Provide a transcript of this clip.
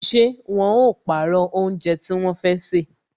Ṣé wọn ó pàrọ̀ oúnjẹ tí wọn fẹ́ sè